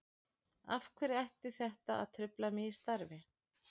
Af hverju ætti þetta að trufla mig í starfi?